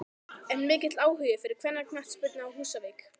Er mikill áhugi fyrir kvennaknattspyrnu á Húsavík?